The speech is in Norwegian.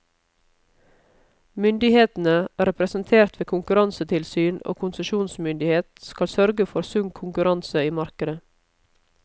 Myndighetene, representert ved konkurransetilsyn og konsesjonsmyndighet, skal sørge for sunn konkurranse i markedet.